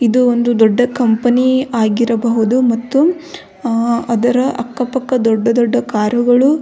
ಇದು ಒಂದು ದೊಡ್ಡ ಕಂಪನಿ ಆಗಿರಬಹುದು ಮತ್ತು ಅದರ ಅಕ್ಕ ಪಕ್ಕ ದೊಡ್ಡ ದೊಡ್ಡ ಗಳು --